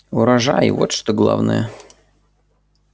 урожай вот что главное